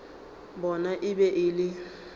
bona e be e le